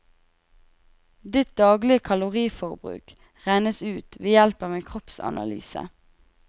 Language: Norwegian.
Ditt daglige kaloriforbruk regnes ut ved hjelp av en kroppsanalyse.